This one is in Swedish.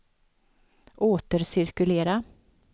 återcirkulera